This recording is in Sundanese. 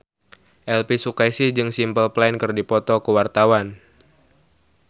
Elvy Sukaesih jeung Simple Plan keur dipoto ku wartawan